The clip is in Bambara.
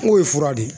N k'o ye fura de ye